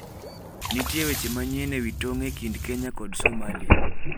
Nitie weche manyien ewi tong' e kind Kenya kod Somalia